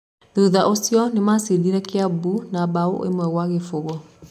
Thutha ũcio nĩ macindire Kiambu na mbao ĩmwe gwa gĩbũgũ.